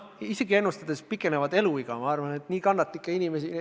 Isegi eluea pikenemise ennustust arvestades arvan ma, et nii kannatlikke inimesi ei ole.